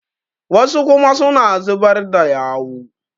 wasu kuma suna zubar da yau